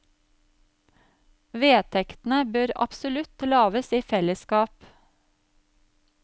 Vedtektene bør absolutt lages i fellesskap.